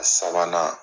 A sabanan